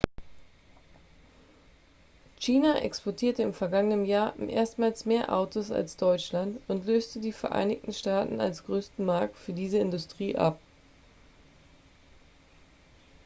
china exportierte im vergangenen jahr erstmals mehr autos als deutschland und löste die vereinigten staaten als größten markt für diese industrie ab